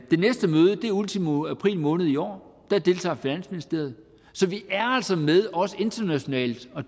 det næste møde er ultimo april måned i år der deltager finansministeriet så vi er altså med og deltager internationalt og